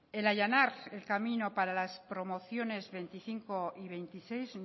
el allanar el camino para las promociones veinticinco y veintiséis